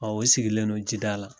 A o sigilen don ji da la.